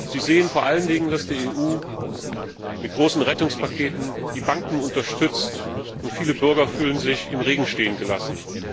Sie sehen vor allen Dingen, dass die EU mit großen Rettungspaketen die Banken unterstützt, und viele Bürger fühlen sich im Regen stehen gelassen.